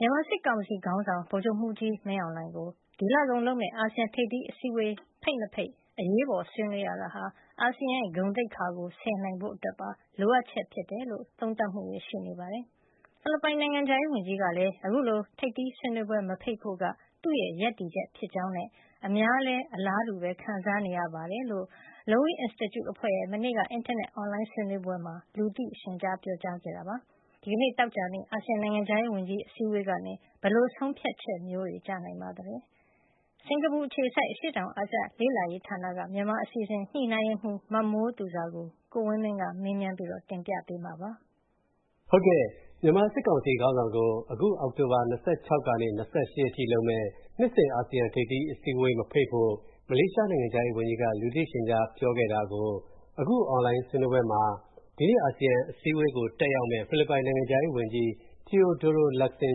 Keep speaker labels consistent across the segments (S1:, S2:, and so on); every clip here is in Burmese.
S1: မြန်မာစစ်ကောင်စီခေါင်းဆောင် ဗိုလ်ချုပ်မူးကြီးမင်းအောင်လှိုင်ကို ဒီလကုန်လုပ်မဲ့ အာဆီယံထိပ်သီးပွဲ မဖိတ်ရေး၊ ဒီနေ့ အရေးပေါ်ဆွေးနွေးရတာက အာဆီယံ ဂုဏ်သိက္ခာဆယ်နိုင်ဖို့ပါလို့ သုံးသပ်မူတွေရှိနေပါတယ်။ ဖီလစ်ပိုင်နိုင်ငံခြားရေးဝန်ကြီးကလည်း အခုလို ထိပ်သီးပွဲ မဖိတ်ဖို့က၊ သူ့ရပ်တည်ချက်လည်းဖြစ်တယ်၊ အများလည်း အလားတူခံစားနေရတယ်လို့၊ Lowy Institute အဖွဲ့ အင်တာနက် Online ဆွေးနွေးပွဲမှာ လူသိရှင်ကြား မနေ့က ပြောခဲ့ပါတယ်။ ဒီနေ့ အာဆီယံနိုင်ငံခြားရေးဝန်ကြီးအစည်းအဝေးကနေ ဘယ်လို ဆုံးဖြတ်ချက်မျိုး ကျလာနိုင်ပါလဲ။ စင်္ကာပူအခြေစိုက် ISEAS Yusof Ishak Institute ခေါ် အရှေ့တောင်အာရှလေ့လာရေးဌာနက မြန်မာအစီအစဉ် ညှိနှိုင်းရေးမှူး မမိုးသူဇာကို ကိုဝင်းမင်းက မနေ့ညက မေးထားပါတယ်။ ကိုဝင်းမ
S2: င်း ။. ။ မြန်မာစစ်ကောင်စ်ီ ခေါင်းဆောင်ကို အောက်တိုဘာ ၂၆ ကနေ ၂၈ အထိလုပ်မယ် နှစ်စဉ် အာဆီယံအစည်းအဝေး မဖိတ်ဖို့ မလေးရှားနိုင်ငံခြားရေးဝန်ကြီး က လူသိရှင်ကြားပြောခဲ့တာကို အခု အွန်လိုင်းဆွေးနွေးပွဲမှာ ဒီနေ့အာဆီယံအစည်းအဝေးကို တက်ရောက်မယ့် ဖီလစ်ပိုင်နိုင်ငံခြားရေးဝန်ကြီးTeodoro Locsin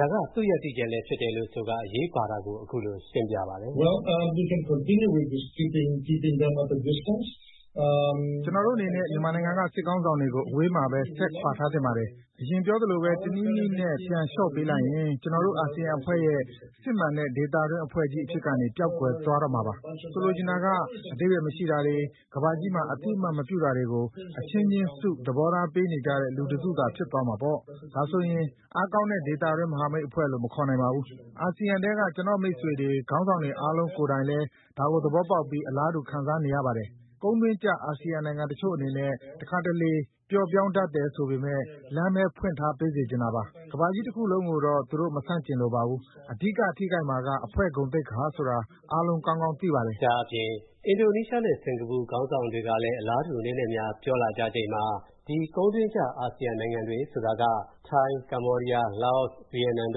S2: ဒါက သူရပ်တည်ချက်ဖြစ်တယ်ဆိုပြီး အရေးပါတာကို အခုလိုရှင်းပြပါတယ်။ ဖိလစ်
S3: ပိုင်နိုင်ငံခြားရေးဝန်ကြီး ။. ။ ကျနော်တို့အနေနဲ့ မြန်မာနိုင်ငံက စစ်ခေါင်းဆောင်တွေကို အဝေးမှာပဲ. ဆက်ခွာထားသင့်ပါတယ်။ အရင်ပြောသလိုပဲ တနည်းနည်းနဲ့ ပြန်လျှော့ပေးလိုက်ရင် ကျနော်တို့ အာဆီယံအဖွဲ့ရဲ့ စစ်မှန်တဲ့ဒေသတွင်းအဖွဲ့အဖြစ်ကနေ ပျောက်ကွယ်သွားတော့မှာပါ။ ဆိုလိုတာက အဓိပ္ပါယ်မရှိတာတွေ၊ ကမ္ဘာကြီးမှာ အသိအမှတ်မပြုတာတွေကို အချင်းချင်းစု သဘောထားပေးတဲ့ လူတစုသာဖြစ်သွားကြမှာပေါ့။ ဒါဆိုရင် အားကောင်းတဲ့ ဒေသတွင်းမဟာမိတ်အဖွဲ့လို့ မခေါ်နိုင်ပါဘူး။ အာဆီယံထဲက ကျနော်မိတ်ဆွေတွေ ခေါင်းဆောင်တွေကိုယ်တိုင်လည်း ဒါကိုသဘောပေါက်ပြီး အလားတူခံစားနေကြရပါတယ်။ ကုန်းတွင်းကျ အာဆီယံနိုင်ငံတချို့အနေနဲ့ ပျော့ပြောင်းတတ်တယ်ဆိုပေမယ့် လမ်းပဲဖွင့်ထားပေးစေချင်တာပါ။ ကမ္ဘာကြီးတခုလုံးကိုတော့ သူတို့မဆန့်ကျင်လိုပါဘူး။ အဓိကထိခိုက်မှာက အဖွဲ့ဂုဏ်သိက္
S2: ခာဆိုတာ အားလုံးကောင်းကောင်းသိပါတယ်။ ကိုဝင်းမင်း ။. ။ အင်ဒိုနီးရှားနဲ့ စင်္ကာပူနိုင်ငံတို့ကလည်း အလားတူအနည်းနဲ့အများပြောလာချိန်မှာ ဒီကုန်တွင်းကျနိုင်ငံတွေဆိုတာက ထိုင်း၊ ကမ္ဘောဒီယား၊ လာအို နဲ့ ဗီယက်နမ်နိုင်ငံ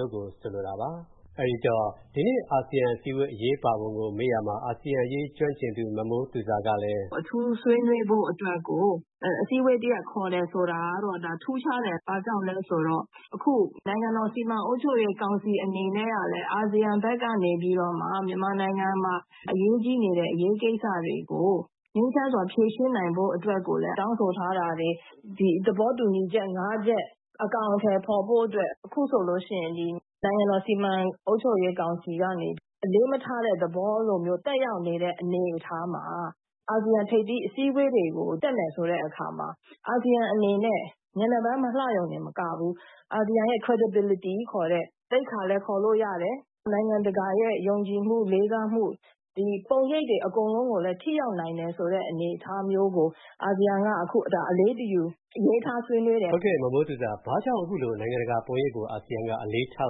S2: တို့ကို ဆိုလိုတာပါ။ ဒီနေ့အာဆီယံအစည်းအဝေး အရေးပါပုံကိုမေးရာမှာ အာဆီယံအရေးကျွမ်းကျင်သူ မမိုးသူဇာ ကလည်း... မမိုးသူဇာ ။. ။ အထ
S4: ူးဆွေးနွေးဖို့အတွက်ကို အစည်းအဝေး တရပ်ခေါ်တာကတော့ ဒါထူးခြားတယ်။ ဘာကြောင့်လဲဆိုတာကတော့ နိုင်ငံတော် စီမံအုပ်ချုပ်ရေးကောင်စီအနေနဲ့ကလည်း အာဆီယံဖက်ကနေပြီး မြန်မာနိုင်ငံမှာ အရေးကြီးနေတဲ့ အရေးကိစ္စတွေကို ငြိမ်းချမ်းစွာဖြေရှင်းနိုင်ဖို့အတွက်ကိုလည်း တောင်းဆိုထားပါတယ်။ ဒီသဘောတူချက် ၅ ချက် အကောင်ထည်ဖော်ဆောင်ဖို့ နိုင်ငံတော် စီမံအုပ်ချုပ်ရေးကောင်စီဖက်ကနေ အလေးမထားတဲ့သဘော သက်ရောက်နေတဲ့ အနေအထားမှာ အာဆီယံအစည်းအဝေးတွေကို တက်မယ်ဆိုတဲ့ အနေအထားမှာ အာဆီယံအနေနဲ့ မျက်နှာပန်းမလှရုံတင်မကဘူး အာဆီယံရဲ့ သိက္ခာ လည်းခေါ်လို့ရတယ်။ နိုင်ငံတကာရဲ့ ယုံကြည်လေးစာမှု ပုံရိပ်တွေအားလုံးကို ထိရောက်နိုင်တယ်ဆိုတာကို အာဆီယံက အလေးတယူ အလေးထားဆွေးနွေးတယ်။ ကိုဝ
S2: င်းမင်း ။. ။ ဘာကြောင့် နိုင်ငံတကာ ပုံရိပ်ကို အာဆီယံက အလေးထား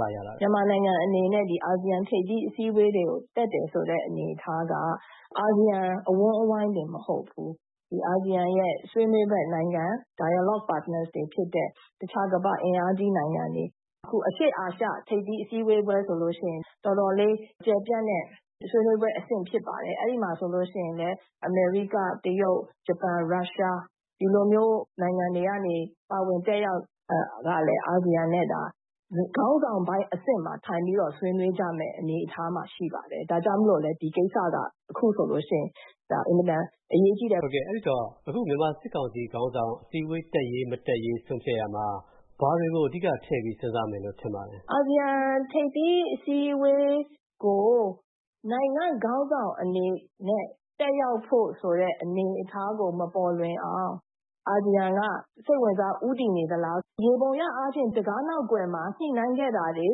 S2: ဆွေးနွေးလာရသလဲ မမိုးသူဇာ ။. ။ မြန်
S4: မာနိုင်ငံအနေနဲ့ အာဆီယံထိပ်သီးအစည်းဝေးတွေကို တက်တယ်ဆိုတဲ့အနေအထားက အာဆီယံအဝန်းအဝိုင်းတင်မဟုတ်ဘူး။ ဒီအာဆီယံရဲ့ ဆွေးနွေးဖက်နိုင်ငံတွေဖြစ်ကြတဲ့ တခြားအင်အားကြီးနိုင်ငံတွေ၊ အခုအရှေ့အာရှထိပ်သီးအစည်းဝေးပွဲဆိုလို့ရှိရင် တော်တော်လေး ကျယ်ပြန့်တဲ့ ဆွေးနွေးပွဲဖြစ်ပါတယ်။ အဲဒီမှာ ဆိုလို့ရှိရင် ဒီ အမေရိက၊ တရုတ်၊ ဂျပန်၊ ရုရှား ဒီလိုမျိုးနိုင်ငံတွေကနေပြီး အာဆီယံနဲ့ ပါဝင်တက်ရောက်ကြတာ။ ခေါင်းဆောင်ပိုင်းအဆင့်မှာ ပါဝင်တက်ရောက်ကြမယ်ဖြစ်ပါတယ်။ ဒါကြောင့်မိုလို့လည်း ဒီကိစ္စက အခုဆိုလို့ရှိရင်လည်း အင်မတန်အရေးကြီးတာ
S2: ဖြစ်ပါတယ်။ ကိုဝင်းမင်း ။. ။ မြန်မာစစ်ကောင်စီခေါင်းဆောင် အစည်းဝေးတက်ရေး မတက်ရေး ဆုံးဖြတ်ရအောင် ဘာတွေကို အဓိကထဲ့ပြီး ဆုံးဖြတ်မယ်ထင်ပါသလဲ။
S4: မမိုးသူဇာ ။. ။ အာဆီယံ ထိပ်သီးအစည်းအဝေးကို နိုင်ငံခေါင်းဆောင်အနေနဲ့ တက်ရောက်ဖို့ဆိုတဲ့ အနေအထားကို မပေါ်လွင်အောင် အာဆီယံက ဦးတည်နေသလား။ ယျေဘူရ အားဖြင့် တံခါးနောက်ကွယ်မှာ ညှိနှိုင်းခဲ့တာတွေ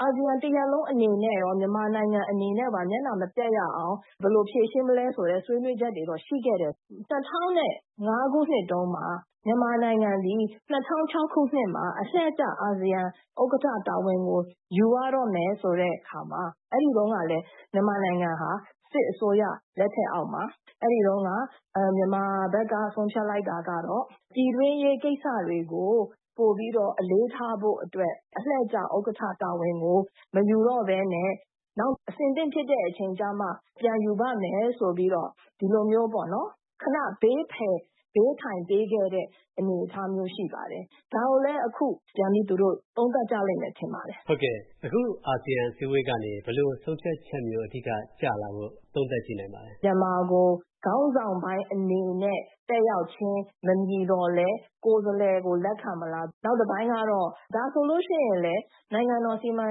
S4: အာဆီယံတရပ်လုံးအနေနဲ့ရော၊မြန်မာနိုင်ငံအနေနဲ့ရော မျက်နှာမပျက်ရအောင် ဘယ်လိုဖြေရှင်းမလဲဆိုတဲ့ ဆွေးနွေးချက်တွေတော့ရှိခဲ့တယ်။ ၂ဝဝ၅ခုနှစ်တုံးက မြန်မာနိုင်ငံသည် ၂ဝဝ၆ ခုနှစ်မှာ အလှည့်ကျ အာဆီယံ ဥက္ကဌ တာဝန်ကို ယူရတော့မယ်ဆိုတဲ့အနေအထားမှာ အဲဒီတုံးကလည်း မြန်မာနိုင်ငံဟာ စစ်အစိုးရလက်ထက်အောက်မှာ မြန်မာဖက်က ဆုံးဖြတ်လိုက်တာက ပြည်တွင်းရေးကိစ္စတွေကို ပိုပြီးတော့ အလေးထားဖို့အတွက် အလှည့်ကျဥက္ကဌ တာဝန်ကို မယူတော့ပဲနဲ့ နောက်အဆင်သင့်ဖြစ်တဲ့အချိန်ကြမှ ပြန်ယူမယ်ဆိုပြီး ခနဘေးထိုင်ပေးခဲ့တဲ့ အနေအထားရှိပါတယ်။ ဒါကိုလည်း အခု သူတို့သုံးသပ်ကြမယ်ထင်ပါတယ်
S2: ။ ကိုဝင်းမင်း ။. ။ ဟုတ်ကဲ့။ အခုအာဆီယံအစည်းအဝေးကနေ ဘယ်လိုဆုံးဖြတ်ချက် ကျလာမယ်လို့ သုံးသပ်ကြည့်နိုင်ပါသလ
S4: ဲ။ မမိုးသူဇာ ။. ။ မြန်မာကို ခေါင်းဆောင်ပိုင်းအနေနဲ့ အနေနဲ့ တက်ရောက်ခြင်းမဖြစ်သောလည်း ကိုယ်စားလှယ်ကို လက်ခံမလား။ နောက်တပိုင်းကတော့ ဒါဆိုလို့ရှိရင်လည်း နိုင်ငံတော် စီမံ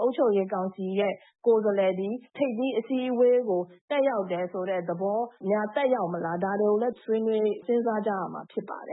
S4: အုပ်ချုပ်ရေး ကောင်စီကိုယ်စားလှယ်သည် ထိပ်သီးအစည်းအဝေးကို တက်ရောက်တယ်ဆိုတဲ့ သဘောများသက်ရောက်မလား။ ဒါတွေကို စဉ်းစားကြရမှာဖြစ်ပါတယ်